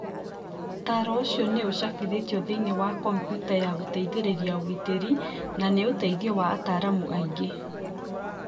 Ũtaaro ũcio nĩ ũcabĩtwo thĩinĩ wa kompiuta ya gũteithĩrĩria ũgitĩri na nĩ ũteithio wa ataaramu angĩ.